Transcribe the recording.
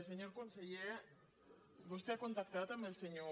senyor conseller vostè ha contactat amb el senyor